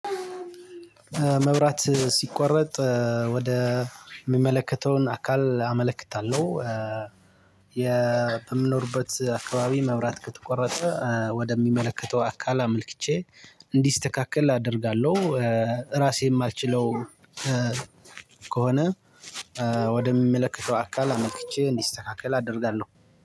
መብራት ሲቆረጥ ወደ ሚመለከተውን አካል አመለክታለሁ። የ በምኖርበት አካባቢ መብራት ከተቆረጠ ወደሚመለከተው አካል አምልክቼ እንዲስተካከል አደርጋለሁ። ራሴን ማልችለው ከሆነ። ወደሚመለከተው አካል አመልክቼ እንዲስተካከል አደርጋለሁ።